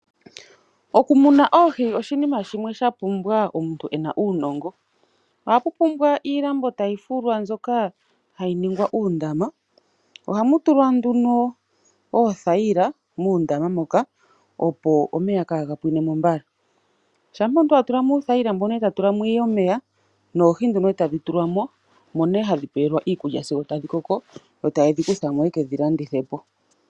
Okumuna oohi oshiima shimwe shapumbwa omuntu ena uunongo ohapu pumbwa iilambo ndjoka ya fulwa hayi ningwa uundama. Muundama muka ohamu tulwa oothayila opo omeya kaanga pwinemo mbala. Oohi muundama ohadhi pewelwamo iikulya dhikoke opo dhi wape okukalandithwa.